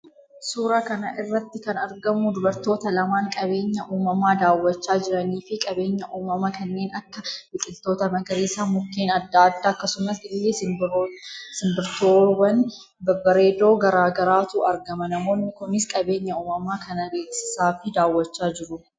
Suuraa kanarratti kan argamu dubartoota lamaan qabeenya uumama daawwachaa jiraanii fi qabeenya uumama kanneen Akka biqiiltoota magariisa mukkeen adda addaa akkasumas illee simbirtoowwan babbareedoo gara garaatu argama namoonni Kunis qabeenya uumama kana beeksisaa fi daawwachaa jiru.